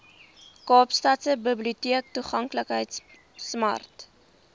kaapstadse biblioteektoeganklikheidsprojek smart